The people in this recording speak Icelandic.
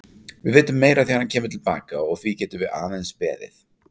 Við vitum meira þegar hann kemur til baka og því getum við aðeins beðið.